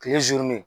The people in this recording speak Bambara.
Kile